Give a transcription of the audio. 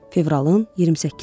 Fevralın 28-i idi.